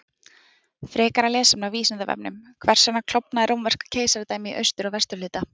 Frekara lesefni á Vísindavefnum: Hvers vegna klofnaði Rómverska keisaradæmið í austur- og vesturhluta?